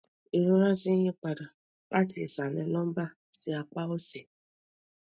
irora ti n yipada lati isalẹ lumbar si apa osi